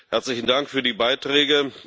Herzlichen Dank für die Beiträge!